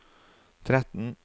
tretten